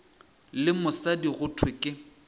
le mosadi go thwe ke